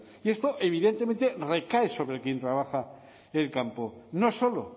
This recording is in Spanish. y esto evidentemente recae sobre quién trabaja el campo no solo